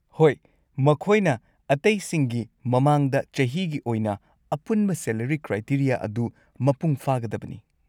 ꯍꯣꯏ, ꯃꯈꯣꯏꯅ ꯑꯇꯩꯁꯤꯡꯒꯤ ꯃꯃꯥꯡꯗ ꯆꯍꯤꯒꯤ ꯑꯣꯏꯅ ꯑꯄꯨꯟꯕ ꯁꯦꯂꯔꯤ ꯀ꯭ꯔꯥꯏꯇꯦꯔꯤꯌꯥ ꯑꯗꯨ ꯃꯄꯨꯡ ꯐꯥꯒꯗꯕꯅꯤ ꯫